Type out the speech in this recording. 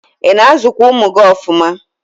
ị na-azụkwa ụmụ gị ọfụma?